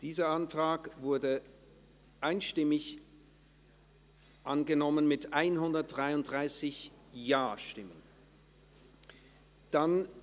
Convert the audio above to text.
Dieser Antrag wurde einstimmig angenommen, mit 133 Ja- gegen 0 Nein-Stimmen bei 0 Enthaltungen.